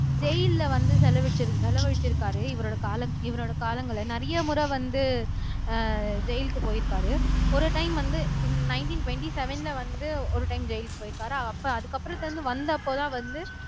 ஜெயில்ல வந்து செலவழிச்சி செலவழிச்சிருக்காரு இவரோட காலம் இவரோட காலங்களை நிறைய முறை வந்து அஹ் ஜெயிலுக்கு போயிருக்காரு ஒரு டைம் வந்து நைன்டீன் டுவெண்ட்டி செவ்வென்ல வந்து ஒரு டைம் ஜெயிலுக்கு போயிருப்பாரு அப்ப அதுக்கப்புறத்துல இருந்து வந்தப்பதான் வந்து